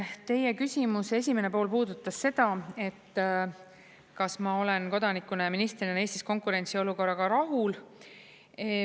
Teie küsimuse esimene pool puudutas seda, et kas ma olen kodanikuna ja ministrina Eestis konkurentsiolukorraga rahul.